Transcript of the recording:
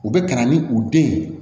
U bɛ ka na ni u den ye